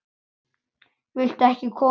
Viltu ekki koma inn?